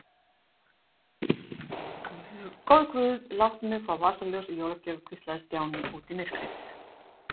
Góði guð, láttu mig fá vasaljós í jólagjöf hvíslaði Stjáni út í myrkrið.